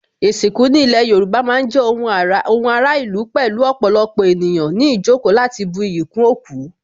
Ìsìnkú ní ilé Yorùbá má ń jẹ́ ohun ara ìlú pẹ̀lú ọ̀pọ̀lọpọ̀ ènìyàn ní ìjókòó láti bu iyì kún òkú